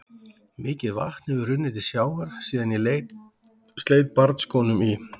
Mikið vatn hefur runnið til sjávar síðan ég sleit barnsskónum í